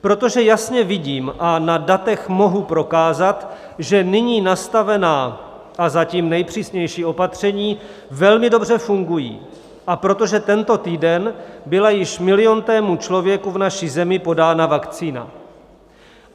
Protože jasně vidím a na datech mohu prokázat, že nyní nastavená a zatím nejpřísnější opatření velmi dobře fungují, a protože tento týden byla již miliontému člověku v naší zemi podána vakcína.